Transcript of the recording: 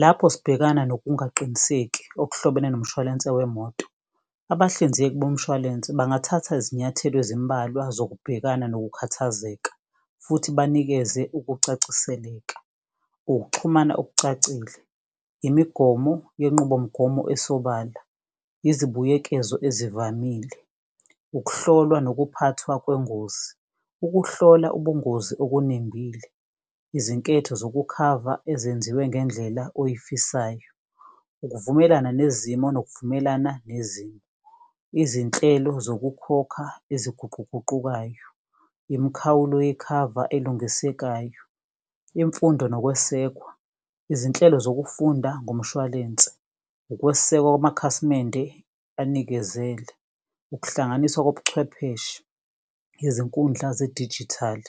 Lapho sibekana nokungaqiniseki okuhlobene nomshwalense wemoto, abahlinzeki bomshwalense bangathatha izinyathelo ezimbalwa zokubhekana nokukhathazeka futhi banikeze ukucaciseleka, ukuxhumana okucacile, imigomo yenqubomgomo esobala, izibuyekezo ezivamile, ukuhlolwa nokuphathwa kwengozi, ukuhlola ubungozi okunembile, izinketho zokukhava ezenziwe ngendlela oyifisayo, ukuvumelana nezimo nokuvumelana nezimo, izinhlelo zokukhokha eziguquguqukayo, imikhawulo yekhava elungisekayo, imfundo nokwesekwa, izinhlelo zokufunda ngomshwalense, ukwesekwa kwamakhasimende anikezele, ukuhlanganiswa kobuchwepheshe, izinkundla zedijithali,